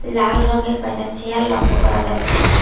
লাল রঙের কয়টা চেয়ার লক্ষ করা যাচ্ছে।